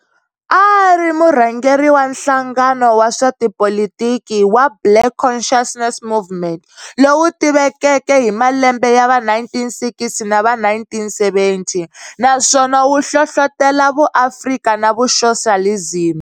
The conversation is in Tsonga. A a ri murhangeri wa nhlangano wa swa tipolitiki wa Black Conciousness Movement, lowu tivekeke hi malembe ya va 1960 na va 1970, naswona wu hlohlotela vu Afrika na vu Soxalizimi.